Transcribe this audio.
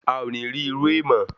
A o ni ri iru e mo